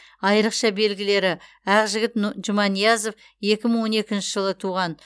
айрықша белгілері аақжігіт жұманиязов екі мың он екінші жылы туған